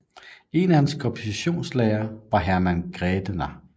En af hans kompositionslærere var Hermann Grädener